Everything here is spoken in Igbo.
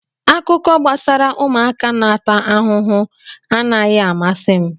Akụkọ gbasara ụmụaka na-ata ahụhụ anaghị amasị m